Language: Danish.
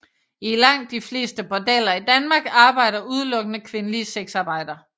I langt de fleste bordeller i Danmark arbejder udelukkende kvindelige sexarbejdere